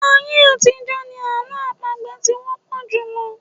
Ayé àtijọ́ ni àlọ́ àpagbè ti wọ́pọ̀ jùlọ.